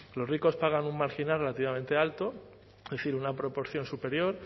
los ricos pagan un marginal relativamente alto es decir una proporción superior